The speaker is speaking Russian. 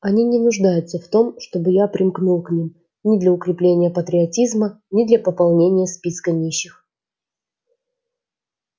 они не нуждаются в том чтобы я примкнул к ним ни для укрепления патриотизма ни для пополнения списка нищих